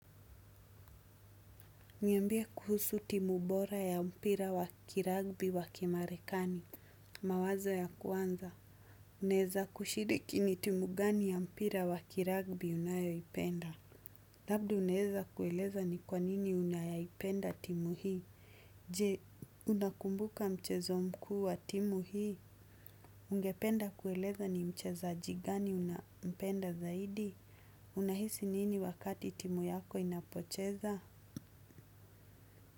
Niambie kuhusu timu bora ya mpira wa kiragbi wa kimarekani. Mawazo ya kwanza. Unaeza kushiriki ni timu gani ya mpira wa kiragbi unayoipenda. Labda unaeza kueleza ni kwanini unayayipenda timu hii. Je, unakumbuka mchezo mkuu wa timu hii. Ungependa kueleza ni mchezajigani unampenda zaidi. Unahisi nini wakati timu yako inapocheza.